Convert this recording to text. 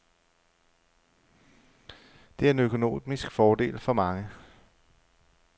Det er en økonomisk fordel for mange.